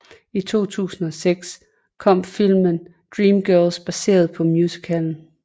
I 2006 kom filmen Dreamgirls baseret på musicalen